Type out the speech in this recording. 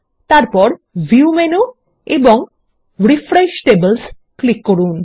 তারপর view menu এবং refresh tables click করুন